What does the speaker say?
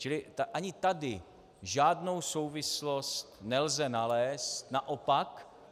Čili ani tady žádnou souvislost nelze nalézt, naopak.